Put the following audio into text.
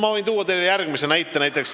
Ma võin tuua teile järgmise näite.